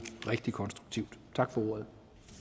rigtig konstruktivt tak for ordet